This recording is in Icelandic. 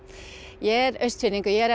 ég er Austfirðingur ég er